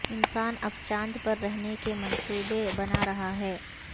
انسان اب چاند پر رہنے کے منصوبے بنا رہا ہے